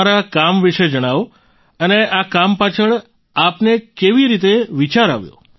તમારા કામ વિશે જણાવો અને આ કામ પાછળ આપને કેવી રીતે વિચાર આવ્યો